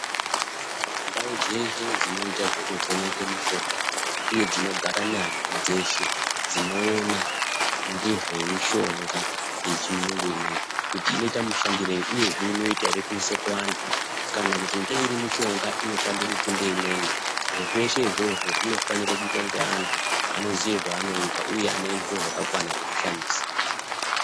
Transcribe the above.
Ndau dzeshe dzinoita zveku vheneka mishonga uye dzinogara nyanzvi dzeshe dzinoona ngezve mushonga ye chiyungu ineyi kuti inoita mushandirei uyezve inoita ere kuisa ku antu kana kuti ngeiri mishonga inoshande ku kunde imweni zviro zveshe zvozvo zvinofanire kuitwa ne antu anoziya zvaanoita uye ane zviro zvaka kwana zveku shandisa.